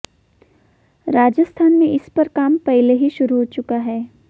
राजस्थान में इस पर काम पहले ही शुरू हो चुका है